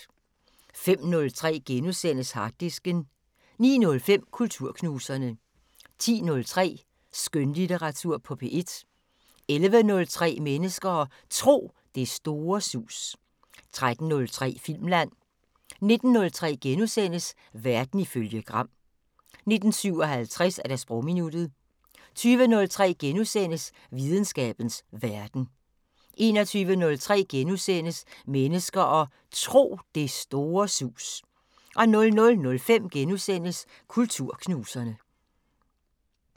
05:03: Harddisken * 09:05: Kulturknuserne 10:03: Skønlitteratur på P1 11:03: Mennesker og Tro: Det store sus 13:03: Filmland 19:03: Verden ifølge Gram * 19:57: Sprogminuttet 20:03: Videnskabens Verden * 21:03: Mennesker og Tro: Det store sus * 00:05: Kulturknuserne *